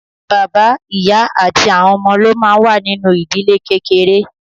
Bàbá, ìyá àti àwọn ọmọ ló máa ń wà nínú ìdílé kékeré.